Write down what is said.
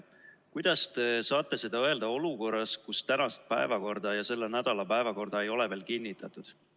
Kuidas te saate seda öelda olukorras, kus ei tänast päevakorda ega selle nädala päevakorda ei ole veel kinnitanud?